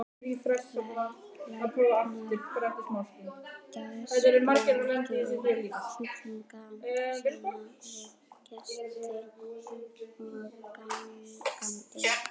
Læknar gaspra ekki um sjúklinga sína við gesti og gangandi.